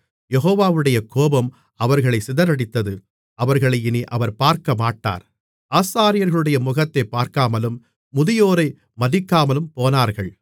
யெகோவாவுடைய கோபம் அவர்களைச் சிதறடித்தது அவர்களை இனி அவர் பார்க்கமாட்டார் ஆசாரியர்களுடைய முகத்தைப் பார்க்காமலும் முதியோரை மதிக்காமலும்போனார்கள்